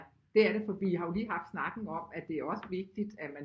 Ja det er det for vi har jo lige haft snakken om at det er også vigtigt at man